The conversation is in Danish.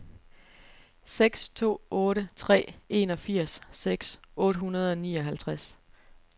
seks to otte tre enogfirs seks hundrede og nioghalvtreds